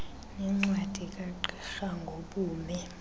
nencwadi kagqirha ngobume